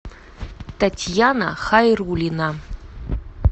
татьяна хайрулина